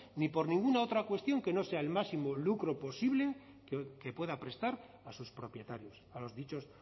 ni por ninguna otra cuestión que no sea el máximo lucro posible que pueda prestar a sus propietarios a los dichos